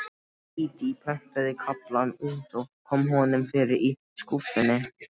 Dídí prentaði kaflann út og kom honum fyrir í skúffunni.